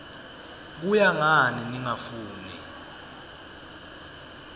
kuya ngani ningafuni